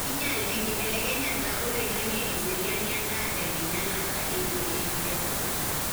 kinyial enkibelekenyata oloingange eseriani endaa tenkinyialata eishoi enkiremore.